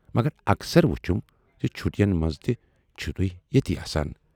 مگر اکثر وُچھُم زِ چھُٹین منز تہِ چھِوٕ تُہۍ ییتی آسان۔